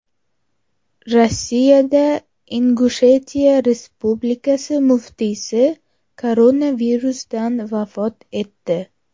Rossiyada Ingushetiya Respublikasi muftiysi koronavirusdan vafot etdi.